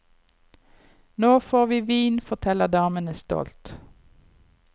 Nå får vi vin, forteller damene stolt.